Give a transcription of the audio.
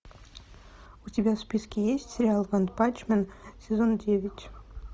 у тебя в списке есть сериал ванпанчмен сезон девять